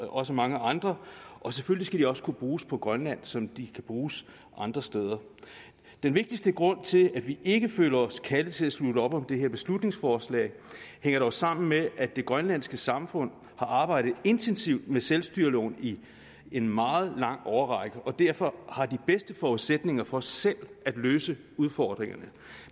også mange andre og selvfølgelig også kunne bruges på grønland som de kan bruges andre steder den vigtigste grund til at vi ikke føler os kaldet til at slutte op om det her beslutningsforslag hænger dog sammen med at det grønlandske samfund har arbejdet intensivt med selvstyreloven i en meget lang årrække og derfor har de bedste forudsætninger for selv at løse udfordringerne